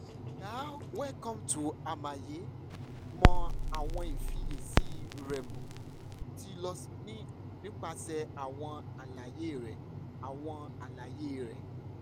dearwelcome to hmaye mọ awọn ifiyesi rẹmo ti lọ nipasẹ awọn alaye rẹ awọn alaye rẹ